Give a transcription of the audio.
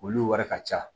Olu wari ka ca